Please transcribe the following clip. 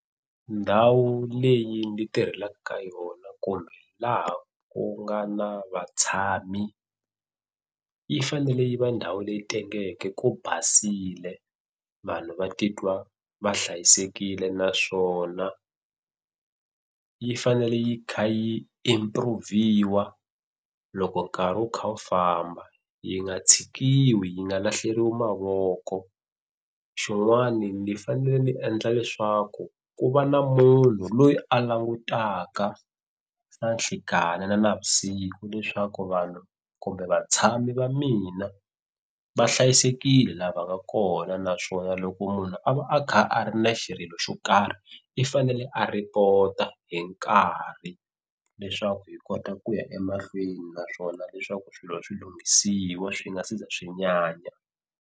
Ndhawu leyi ndi tirhelaka ka yona kumbe laha ku nga na vatshami yi fanele yi va ndhawu leyi tengeke ku basile vanhu va titwa va hlayisekile naswona yi fanele yi kha yi improve-iwa loko nkarhi wu kha wu famba yi nga tshikiwi yi nga lahleriwa mavoko. Xin'wana ni fanele ni endla leswaku ku va na munhu loyi a langutaka na nhlekani na navusiku leswaku vanhu kumbe vatshami va mina va hlayisekile la va nga kona naswona loko munhu a va a kha a ri na xirilo xa swo karhi i fanele a report-a hi nkarhi leswaku hi kota ku ya emahlweni naswona leswaku swilo swi lunghisiwa swi nga si za swi nyanya.